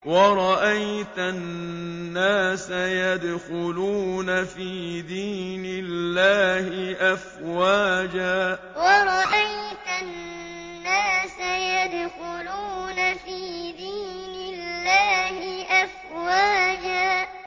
وَرَأَيْتَ النَّاسَ يَدْخُلُونَ فِي دِينِ اللَّهِ أَفْوَاجًا وَرَأَيْتَ النَّاسَ يَدْخُلُونَ فِي دِينِ اللَّهِ أَفْوَاجًا